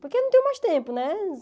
Porque eu não tenho mais tempo, né?